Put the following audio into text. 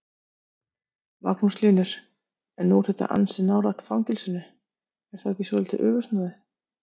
Magnús Hlynur: En nú er þetta ansi nálægt fangelsinu, er þá ekki svolítið öfugsnúið?